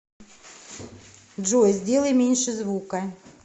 джой сделай меньше звука